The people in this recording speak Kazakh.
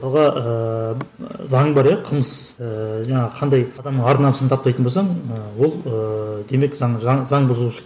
ыыы заң бар иә қылмыс ыыы жаңағы қандай адам ар намысын таптайтын болсаң ы ол ы демек заң заң заңбұзушылық